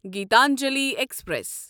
Gitanjali express